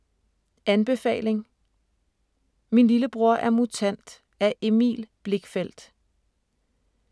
Anbefaling: Min lillebror er mutant af Emil Blichfeldt